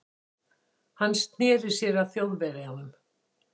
Hann sneri sér að Þjóðverjanum.